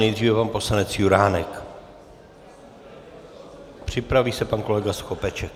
Nejdříve pan poslanec Juránek, připraví se pan kolega Skopeček.